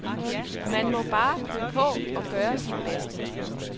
Man må bare klø på og gøre sit bedste.